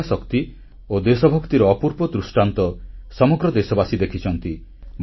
ମହିଳା ଶକ୍ତି ଓ ଦେଶଭକ୍ତିର ଅପୂର୍ବ ଦୃଷ୍ଟାନ୍ତ ସମଗ୍ର ଦେଶବାସୀ ଦେଖିଛନ୍ତି